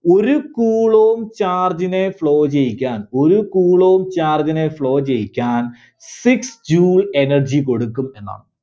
ഒരു coulomb charge നെ flow ചെയ്യിക്കാൻ, ഒരു coulomb charge നെ flow ചെയ്യിക്കാൻ six Joule energy കൊടുക്കും എന്നാണ്.